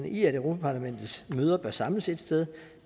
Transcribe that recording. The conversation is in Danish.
i at europa parlamentets møder bør samles ét sted